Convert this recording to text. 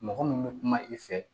Mɔgɔ min bɛ kuma i fɛ